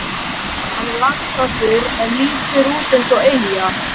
Hann er landfastur en lítur út eins og eyja.